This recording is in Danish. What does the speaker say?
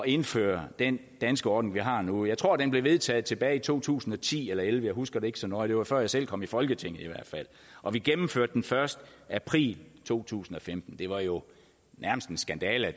indføre den danske ordning vi har nu jeg tror den blev vedtaget tilbage i to tusind og ti eller og elleve jeg husker det ikke så nøje og før jeg selv kom i folketinget og vi gennemførte den først i april to tusind og femten det var jo nærmest en skandale